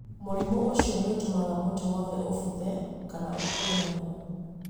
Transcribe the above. Mũrimũ ũcio nĩ ũtũmaga mũtĩ wothe ũbuthe na ũkue narua